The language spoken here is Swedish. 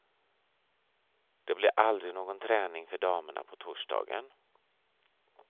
Det blev aldrig någon träning för damerna på torsdagen.